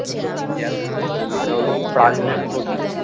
মানে ওদের ব্রাজিলের প্রতীক।